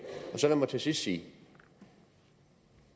så lad mig til sidst sige at